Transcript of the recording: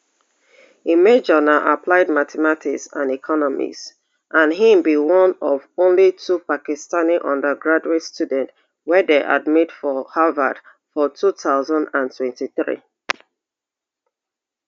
im major na applied mathematics and economics and im be one of only two pakistani undergraduate students wey dem admit for harvard for two thousand and twenty-three